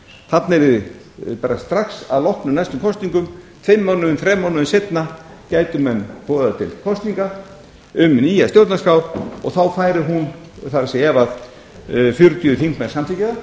atkvæði um stjórnarskrána sjálfa strax að loknum næstu kosningum fimm mánuðum þrem mánuðum seinna gætu menn boðað til kosninga um nýja stjórnarskrá og þá færi hún það er ef fjörutíu þingmenn samþykkja